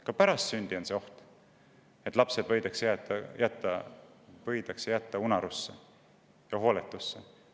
Ka pärast sündi on oht, et lapsed võidakse jätta unarusse ja hooletusse.